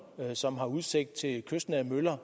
som har udsigt til kystnære møller